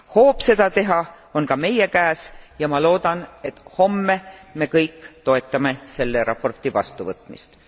Hoob seda teha on ka meie käes ja ma loodan, et homme me kõik toetame selle raporti vastuvõtmist.